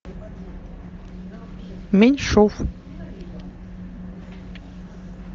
меньшов